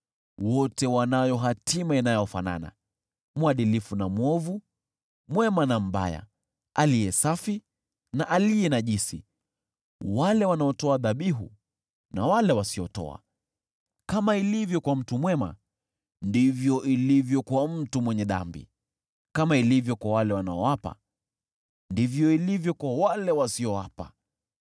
Wote wanayo hatima inayofanana, mwadilifu na mwovu, mwema na mbaya, aliye safi na aliye najisi, wale wanaotoa dhabihu na wale wasiotoa. Kama ilivyo kwa mtu mwema, ndivyo ilivyo kwa mtu mwenye dhambi; kama ilivyo kwa wale wanaoapa, ndivyo ilivyo kwa wale wasioapa.